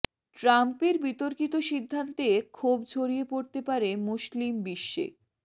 ট্রাম্পের বিতর্কিত সিদ্ধান্তে ক্ষোভ ছড়িয়ে পড়তে পারে মুসলিম বিশ্বে